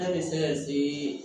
N'a bɛ se ka se